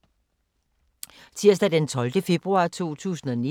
Tirsdag d. 12. februar 2019